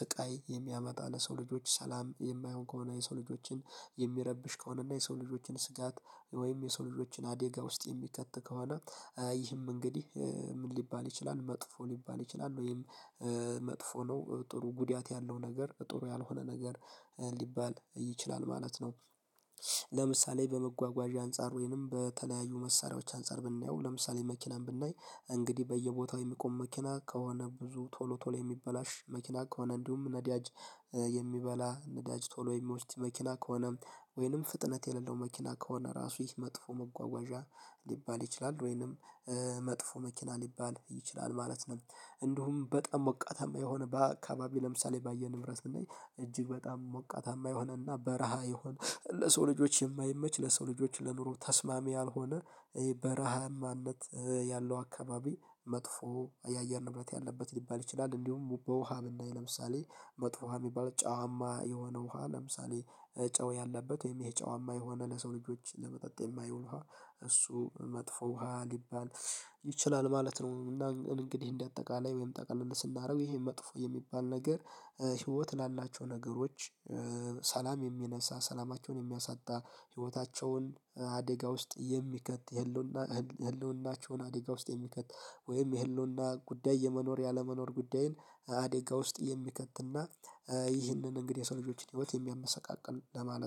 ስቃይ የሚያመጣ ለሰው ልጆች ሰላም የማይሆን ከሆነ የሰው ልጆችን የሚረብሽ ከሆነ እና የሰው ልጆችን ስጋት ወይም የሰው ልጆችን አዴጋ ውስጥ የሚከት ከሆነ ይህም እንግዲህ ምን ሊባል ይችላል መጥፎ ሊባል ይችላል ወይም መጥፎ ነው ጥሩ ጉዳት ያለው ነገር ጥሩ ያልሆነ ነገር ሊባል ይችላል ማለት ነው። ለምሳሌ በመጓጓዣ አንፃር ወይንም በተለያዩ መሳሪያዎች አንፃር ብናየው ለምሳሌ መኪናን ብናይ እንግዲህ በየቦታው የሚቆም መኪና ከሆነ ብዙ ቶሎ ቶሎ የሚበላሽ መኪና ከሆነ እንዲሁም ነዳጅ የሚበላ ነዳጅ ቶሎ የሚወስድ መኪና ከሆነ ወይንም ፍጥነት የሌለው መኪና ከሆነ ራሱ ይህ መጥፎ መጓጓዣ ሊባል ይችላል ወይንም መጥፎ መኪና ሊባል ይችላል ማለት ነው። እንዲሁም በጣም ሞቃታማ የሆነ በአካባቢ ለምሳሌ ባየ ንብረት እንዴ እጅግ በጣም ሞቃታማ የሆነና በረሃ ይሁን ለሰው ልጆች የማይመች ለሰው ልጆች ለኑሮ ተስማሚ ያልሆነ በረሃማነት ያለው አካባቢ መጥፎ የአየር ንብረት ያለበት ሊባል ይችላል እንዲሁም በውሃ ለምሳሌ መጥፎ ውሃ የሚባል ጨዋማ የሆነ ውሃ ለምሳሌ ጨው ያለበት ወይም ይሄ ጨዋማ የሆነ ለሰው ልጆች ለመጠጥ የማይሆን ውሃ እሱ መጥፎ ውሃ ሊባል ይችላል ማለት ነው እና እንግዲህ እንደአጠቃላይ ወይም ጠቅልል ስናደርግ ይሄ መጥፎ የሚባል ነገር ህይወት ላላቸው ነገሮች ሰላም የሚነሳ ሰላማቸውን የሚያሳጣ ህይወታቸውን አደጋ ውስጥ የሚከት የህልውና የህልውናቸውን አደጋ ውስጥ የሚከት ወይም የህልውና ጉዳይ የመኖር ያለመኖር ጉዳይን አደጋ ውስጥ የሚከትና ይህንን እንግዲህ የሰው ልጆችን ህይወት የሚያመሰቃቅል ለማለት